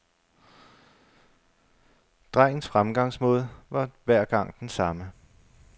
Drengens fremgangsmåde var hver gang den samme.